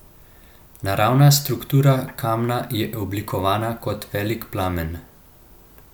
Naravna struktura kamna je oblikovana kot velik plamen.